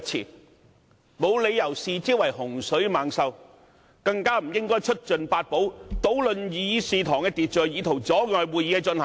我們沒有理由視之為洪水猛獸，更加不應出盡法寶，搗亂議事堂的秩序以圖阻礙會議的進行。